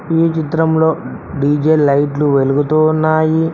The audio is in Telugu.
ఈ చిత్రంలో డీ_జే లైట్లు వెలుగుతూ ఉన్నాయి.